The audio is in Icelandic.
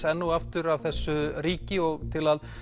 enn og aftur að þessu ríki og til að